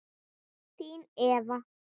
Þín, Eva.